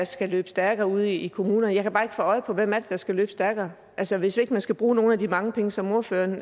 skal løbe stærkere ude i kommunerne jeg kan bare ikke få øje på hvem det er der skal løbe stærkere altså hvis ikke man skal bruge nogle af de mange penge som ordføreren